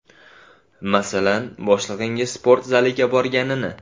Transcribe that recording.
Masalan, boshlig‘ining sport zaliga borganini.